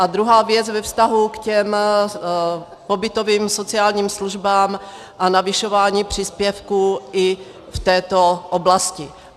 A druhá věc ve vztahu k těm pobytovým sociálním službám a navyšování příspěvků i v této oblasti.